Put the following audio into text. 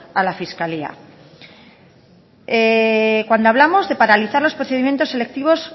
a la fiscalía cuando hablamos de paralizar los procedimientos selectivos